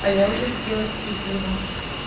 а я уже купила себе пиво